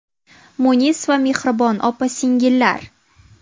Munis va mehribon opa-singillar!